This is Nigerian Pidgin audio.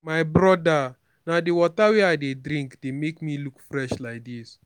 my broda na the water wey i dey drink dey make me look fresh like dis